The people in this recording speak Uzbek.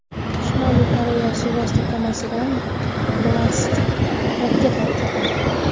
Shimoliy Koreya suvosti kemasidan ballistik raketa uchirdi.